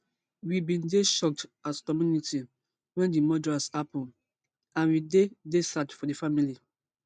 we bin dey shocked as community wen di murders happun and we dey dey sad for di family